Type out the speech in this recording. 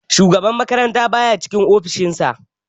Shugaban makaranta baya cikin ofishin sa